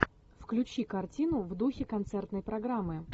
включи картину в духе концертной программы